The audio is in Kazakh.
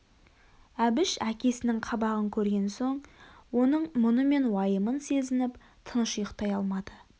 әбіш әкесінің қабағын көрген соң оның мұны мен уайымын сезініп тыныш ұйықтай алмады